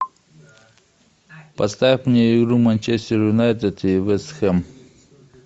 поставь мне игру манчестер юнайтед и вест хэм